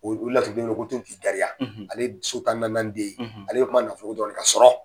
O laturuden ko totigigayan ale so tan ni naaninanden ale bƐ kuma nafolo dƆrƆn de kan sɔrɔ